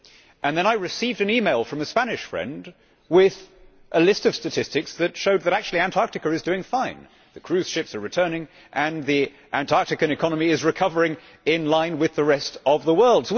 And then I received an email from a Spanish friend with a list of statistics that showed that actually Antarctica is doing fine the cruise ships are returning and the Antarctican economy is recovering in line with the rest of the world.